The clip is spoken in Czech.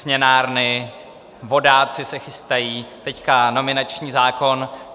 Směnárny, vodáci se chystají, teď nominační zákon.